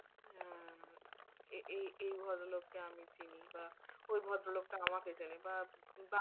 হম এই এই ভদ্রলোক লোককে আমি চিনি বা ওই ভদ্রলোকটা আমাকে চেনে বা, বা